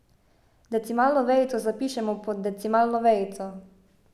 Decimalno vejico zapišemo pod decimalno vejico.